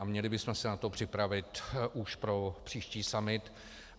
A měli bychom se na to připravit už pro příští summit.